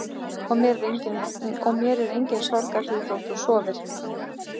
Og mér er engin sorg að því þótt þú sofir.